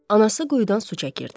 Anası quyudan su çəkirdi.